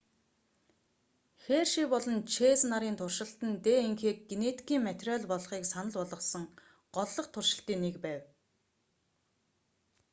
херши болон чэйз нарын туршилт нь днх-г генетикийн материал болохыг санал болгосон голлох туршилтын нэг байв